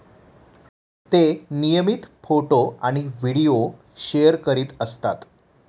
ते नियमित फोटो आणि व्हिडीओ शेअर करीत असतात.